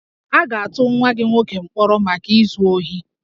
A ga-atụ nwa gị nwoke mkpọrọ maka izu ohi